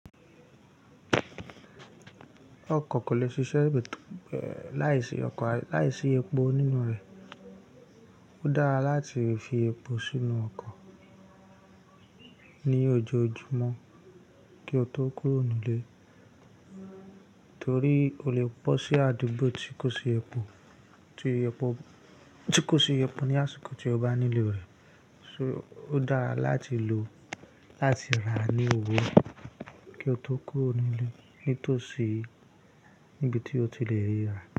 Ọkọ̀ kò lè ṣiṣẹ́ láìsí ọkọ̀ láìsí epo nínú rẹ̀. Ó dára láti fi epo sínú ọkọ̀ ní ojoojúmọ́ kí o tó kúrò nílé, torí o lè bó sí àdúgbò tí kò sí epo, tí epo tí kò sí epo ní àsìkò tí o bá nílò rẹ. So ó dára láti lò ó láti rà á ní owó kí o tó kúrò nílé, ní tòsí níbi tí o ti lè rí rà.